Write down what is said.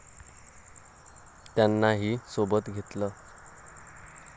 त्यांना ही सोबत घेतल.